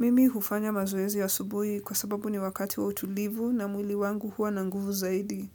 Mimi hufanya mazoezi ya asubuhi kwa sababu ni wakati wa utulivu na mwili wangu huwa na nguvu zaidi.